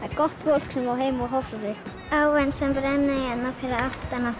er gott fólk sem á heima á Hofsósi áin sem rennur hérna fyrir aftan